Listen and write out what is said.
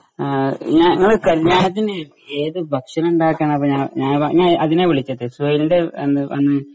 ഞാ ഞങ്ങള് കല്യാണത്തിന് ഏത് ഭക്ഷണം ഉണ്ടാക്കാന ഞ ഞാനിപ്പോ അതിനാ വിളിച്ചേ സുഹൈലിന്റെ അന്ന് അന്ന്